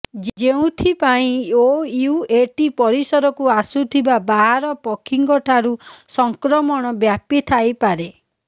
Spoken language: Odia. ଯେଉଁଥିପାଇଁ ଓୟୁଏଟି ପରିସରକୁ ଆସୁଥିବା ବାହାର ପକ୍ଷୀଙ୍କଠାରୁ ସଂକ୍ରମଣ ବ୍ୟାପିଥାଇପାରେ